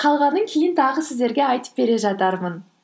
қалғанын кейін тағы сіздерге айтып бере жатармын